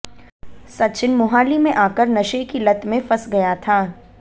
सचिन मोहाली में आकर नशे की लत में फंस गया था